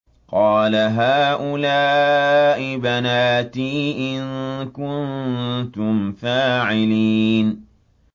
قَالَ هَٰؤُلَاءِ بَنَاتِي إِن كُنتُمْ فَاعِلِينَ